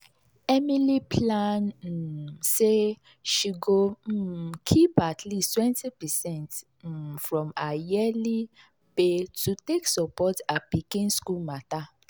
emily plan um say she go um keep at least 20 percent um from her yearly pay to take support her pikin school matter.